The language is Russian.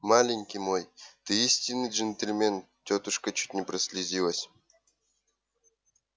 маленький мой ты истинный джентльмен тётушка чуть не прослезилась